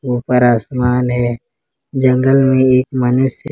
ऊपर आसमान है जंगल में एक मनुष्य--